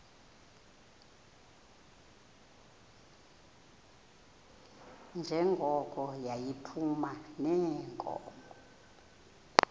njengoko yayiphuma neenkomo